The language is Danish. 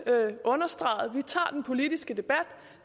understregede vi tager den politiske debat